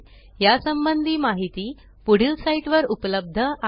या संबंधी माहिती पुढील साईटवर उपलब्ध आहे